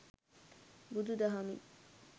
බුදු දහමින්